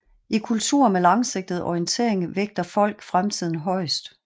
I kulturer med langsigtet orientering vægter folk fremtiden højest